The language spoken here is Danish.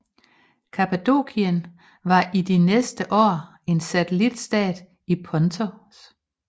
Kappadokien var i de næste år en satelitstat til Pontos